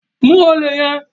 Mu olè yẹn!